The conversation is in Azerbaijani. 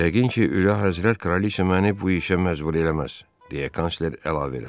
Yəqin ki, Ülül Həzrət Kraliça məni bu işə məcbur eləməz, deyə kansler əlavə elədi.